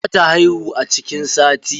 Za ta haihu a cikin sati.